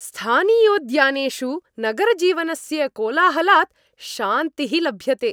स्थानीयोद्यानेषु नगरजीवनस्य कोलाहलात् शान्तिः लभ्यते।